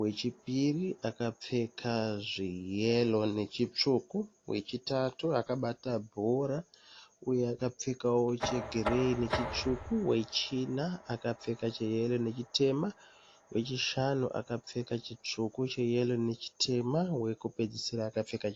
Wechipiri akapfeka zveyero nechitsvuku. Wechitatu akabata bhora uye akapfekawo chegireyi nechitsvuku. Wechina akapfeka cheyero nechitema. Wechishanu akapfeka chitsvuku, cheyero nechitema. Wekupedzisira akapfeka chitema.